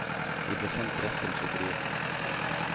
De ble sendt rett til trykkeriet.